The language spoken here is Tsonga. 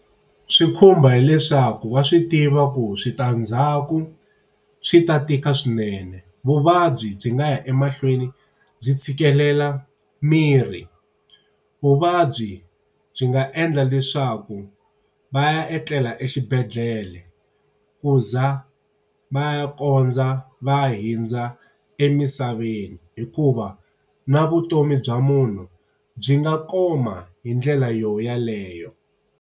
Swi khumba hileswaku wa swi tiva ku switandzhaku swi ta tika swinene, vuvabyi byi nga ya emahlweni byi tshikelela mirhi. Vuvabyi byi nga endla leswaku va ya etlela exibedhlele ku za va ya kondza va hundza emisaveni, hikuva na vutomi bya munhu byi nga koma hi ndlela yona yeleyo.